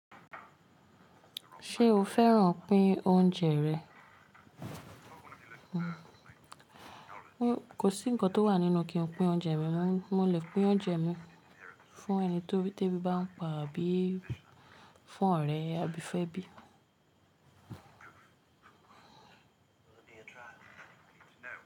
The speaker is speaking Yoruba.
Ṣé o fẹ́ràn pín oúnjẹ rẹ̀? Kò sí ǹkan tó wà nínú kí n pín oúnjẹ mi, mo lè pín oúnjẹ mi fún ẹni tí ebi bá ń pa àbí fún ọ̀rẹ́ àbí fẹ́bí.